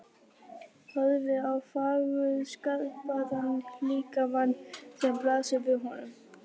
Horfir á fagurskapaðan líkamann sem blasir við honum.